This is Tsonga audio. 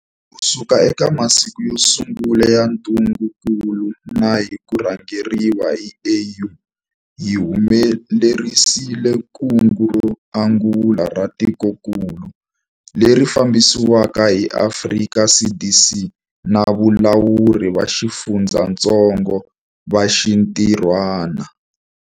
Kusuka eka masiku yo sungula ya ntungukulu na hi ku rhangeriwa hi AU, hi humelerisile kungu ro angula ra tikokulu, leri fambisiweke hi Afrika CDC na valawuri va xifundzatsongo va xintirhwana.